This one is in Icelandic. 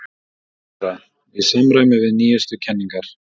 THEODÓRA: Í samræmi við nýjustu kenningar